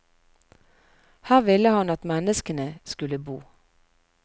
Her ville han at menneskene skulle bo.